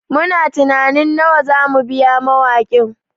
Muna tunanin nawa za mu biya mawakin